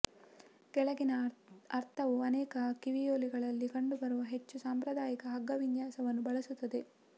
ಕೆಳಗಿನ ಅರ್ಧವು ಅನೇಕ ಕಿವಿಯೋಲೆಗಳಲ್ಲಿ ಕಂಡುಬರುವ ಹೆಚ್ಚು ಸಾಂಪ್ರದಾಯಿಕ ಹಗ್ಗ ವಿನ್ಯಾಸವನ್ನು ಬಳಸುತ್ತದೆ